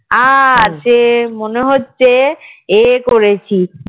আর সে মনে হচ্ছে এ করেছি